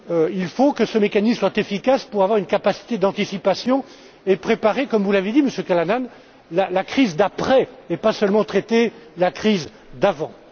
Il faut que ce mécanisme soit efficace pour avoir une capacité d'anticipation et préparer, comme vous l'avez dit, Monsieur Callanan, la crise d'après et pas seulement traiter la crise d'avant.